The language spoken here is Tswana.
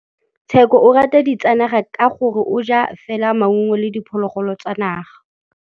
Tshekô o rata ditsanaga ka gore o ja fela maungo le diphologolo tsa naga.